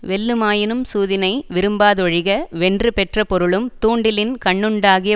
வெல்லுமாயினும் சூதினை விரும்பாதொழிக வென்று பெற்ற பொருளும் தூண்டிலின்கண்ணுண்டாகிய